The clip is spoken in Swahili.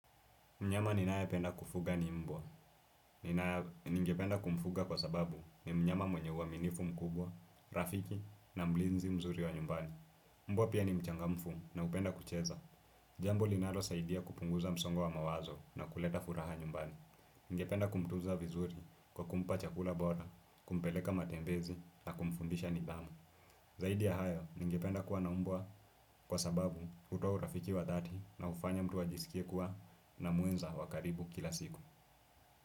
Mnyama ninayependa kufuga ni mbwa. Ningependa kumfuga kwa sababu ni mnyama mwenye uaminifu mkubwa, rafiki na mlinzi mzuri wa nyumbani. Mbwa pia ni mchangamfu na hupenda kucheza. Jambo linalosaidia kupunguza msongo wa mawazo na kuleta furaha nyumbani. Ningependa kumtunza vizuri kwa kumpa chakula bora, kumpeleka matembezi na kumfundisha nidhamu. Zaidi ya hayo ningependa kuwa na mbwa kwa sababu hutoa urafiki wa dhati na hufanya mtu ajisikie kuwa na mwenza wa karibu kila siku.